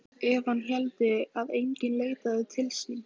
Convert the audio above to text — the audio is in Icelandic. Ef hann héldi að enginn leitaði sín.